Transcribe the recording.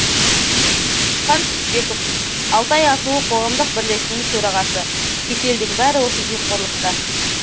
түсіпхан түсіпбеков алтай асуы қоғамдық бірлестігінің төрағасы кеселдің бәрі осы жемқорлықта